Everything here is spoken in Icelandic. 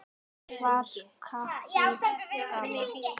Hver var Kató gamli?